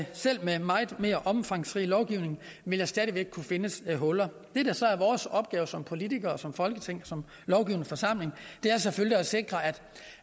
selv med en meget mere omfangsrig lovgivning vil der stadig væk kunne findes huller det der så er vores opgave som politikere som folketing som lovgivende forsamling er selvfølgelig at sikre